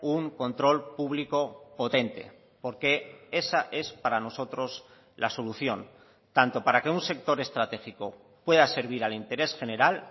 un control público potente porque esa es para nosotros la solución tanto para que un sector estratégico pueda servir al interés general